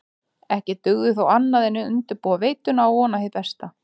Ekki dugði þó annað en undirbúa veituna og vona hið besta.